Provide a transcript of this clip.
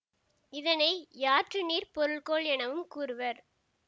இதனை யாற்றுநீர் பொருள்கோள் எனவும் கூறுவர்